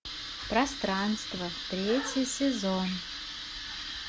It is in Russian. пространство третий сезон